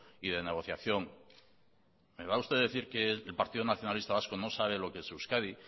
y de negociación me va a usted decir que el partido nacionalista vasco no sabe lo que es euskadi